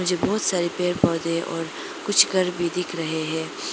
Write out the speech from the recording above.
पीछे बहोत सारे पेड़ पौधे और कुछ घर भी दिख रहे है।